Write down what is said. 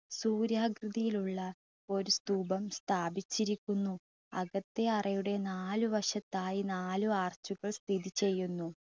സൂര്യകൃതിയിൽ ഉള്ള ഒരു സ്തൂപം സ്ഥാപിച്ചിരിക്കുന്നു. അകത്തെ അറയുടെ നാല് വശത്തായി നാല് arch കൾ സ്ഥിതി ചെയ്യുന്നു.